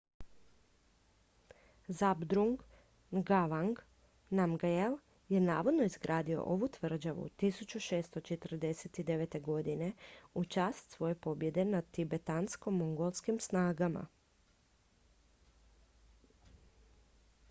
zhabdrung ngawang namgyel je navodno izgradio ovu tvrđavu 1649. godine u čast svoje pobjede nad tibetansko-mongolskim snagama